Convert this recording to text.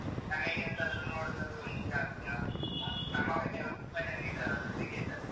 ನನಗೆ ಎಂತಾದ್ರೂ ನೋಡುದಂದ್ರೂ ಹುಚ್ಚು ಜಾಸ್ತಿ ಅಲ್ಲ ಕಡೆಯವರು ತುಂಬ ಜನ ಇದ್ದಾರಲ್ಲ cricket ಅಲ್ಲಿ?